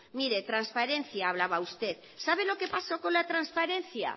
mire transparencia hablaba usted sabe lo que pasó con la transparencia